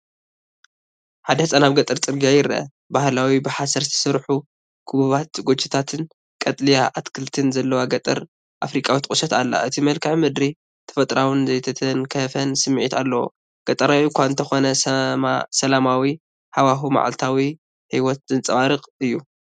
ሓደ ህጻን ኣብ ገጠር ጽርግያ ይረአ፣ ባህላዊ ብሓሰር ዝተሰርሑ ክቡባት ጎጆታትን ቀጠልያ ኣትክልትን ዘለዋ ገጠር ኣፍሪቃዊት ቁሸት ኣላ። እቲ መልክዓ ምድሪ ተፈጥሮኣውን ዘይተተንከፈን ስምዒት ኣለዎ። ገጠራዊ እኳ እንተኾነ፡ ሰላማዊ ሃዋህው መዓልታዊ ህይወት ዘንጸባርቕ እዩ።